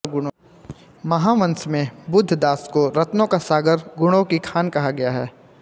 महावंश में बुद्धदास को रत्नों का सागर गुणों की खान कहा गया है